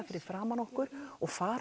fyrir framan okkur og fara